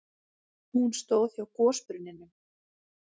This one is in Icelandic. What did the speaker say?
Hún stóð hjá gosbrunninum.